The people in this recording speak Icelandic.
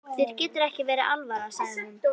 Þér getur ekki verið alvara, sagði hún.